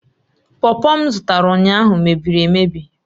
pọpọ m zụtara ụnyaahụ mebiri emebi